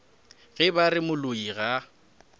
ge ba re moloi ga